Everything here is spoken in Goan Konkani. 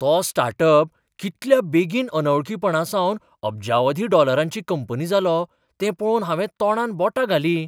तो स्टार्ट अप कितल्या बेगीन अनवळखीपणांसावन अब्जावधी डॉलरांची कंपनी जालो तें पळोवन हांवें तोंडांत बोटां घालीं.